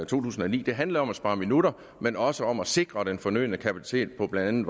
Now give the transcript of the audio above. tusind og ni det handler om at spare minutter men også om at sikre den fornødne kapacitet på blandt